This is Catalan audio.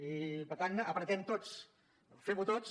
i per tant apretem tots femho tots